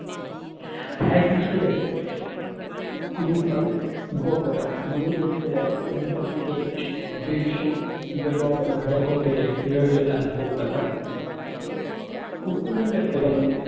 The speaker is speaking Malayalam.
പാരിസിലെ ഈഫൽ ഗോപുരം യു എസിലെ empire state building ഇവയാണ് ലോകത്തിലെ ഏഴ് അത്ഭുതങ്ങൾ കുഫുവിന്റെ pyramid